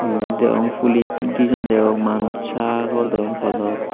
ibot degong pulich dijon degong manuch sagor deong podot.